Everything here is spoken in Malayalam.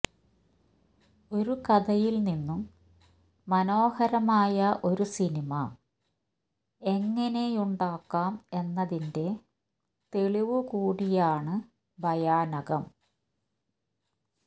ഒരു കഥയിൽനിന്നും മനോഹരമായ ഒരു സിനിമ എങ്ങനെയുണ്ടാക്കാം എന്നതിന്റെ തെളിവു കൂടിയാണ് ഭയാനകം